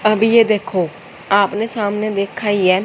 अब ये देखो आपने सामने देखा ही है।